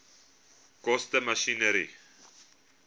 koste masjinerie